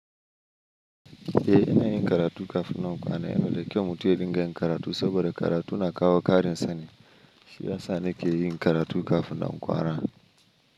Eh ina yin karatu kafin na kwana. Yana da kyau mutum ya dinga yin karatu saboda karatu na kawo ƙarin sani. Shi ya sa nake yi karatu kafin na kwana.